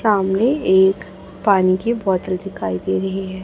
सामने एक पानी की बोतल दिखाई दे रही है।